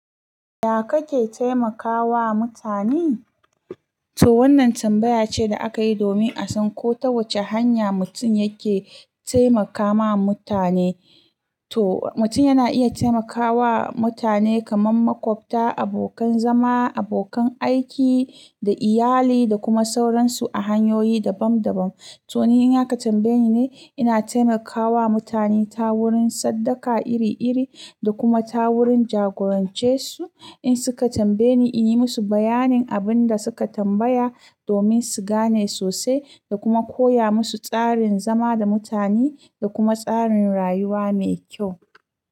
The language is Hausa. Ya kake taimakawa mutane? To wannan tambaya ce da aka yi domin a san ko ta wace hanya mutum yake taimakawa mutane. To mutum yana iya taimakawa mutane kamar makwabta, abokan zama, abokan aiki da iyali da kuma sauransu a hanyoyi dabam dabam. To ni in aka ka tambaye ni ne, ina taimakawa mutane ta wurin sadaka iri iri da kuma ta wurin jagorance su in suka tambaye ni in yi musu bayanin abin da suka tambaya domin su gane sosai da kuma koya musu tsarin zama da mutane da kuma tsarin rayuwa mai kyau.